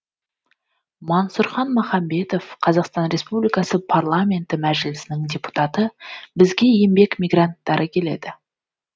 мансұрхан махамбетов қазақстан республикасы парламенті мәжілісінің депутаты бізге еңбек мигранттары келеді